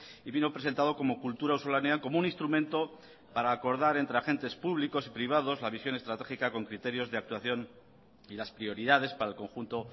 y vino presentado como kultura auzolanean como un instrumento para acordar entre agentes públicos y privados la visión estratégica con criterios de actuación y las prioridades para el conjunto